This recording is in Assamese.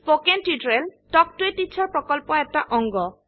spoken tutorial talk to a teacher প্ৰকল্পৰ এটা অংগ